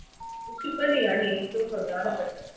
വിഷുക്കണിയാണ് ഏറ്റവും പ്രധാനപ്പെട്ടത്